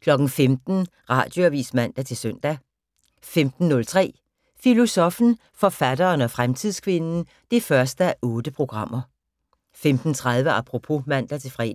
15:00: Radioavis (man-søn) 15:03: Filosoffen, forfatteren og fremtidskvinden 1:8 15:30: Apropos (man-fre)